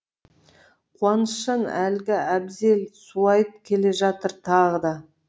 қуанышжан әлгі әбзел суайт келе жатыр тағы да